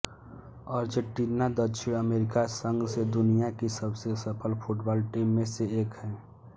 Argentina दक्षिण America संघ से दुनिया की सबसे सफल फुटबॉल टीम में से एक है